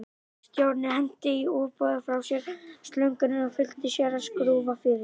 Stjáni henti í ofboði frá sér slöngunni og flýtti sér að skrúfa fyrir.